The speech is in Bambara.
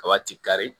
Kaba ti kari